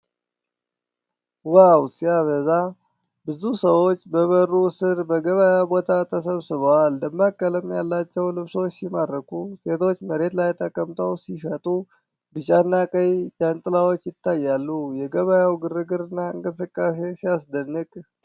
ዋው ሲያበዛ! ብዙ ሰዎች በበሩ ስር በገበያ ቦታ ተሰብስበዋል። ደማቅ ቀለም ያላቸው ልብሶች ሲማርኩ! ሴቶች መሬት ላይ ተቀምጠው ሲሸጡ። ቢጫና ቀይ ጃንጥላዎች ይታያሉ። የገበያው ግርግርና እንቅስቃሴ ሲያስደንቅ!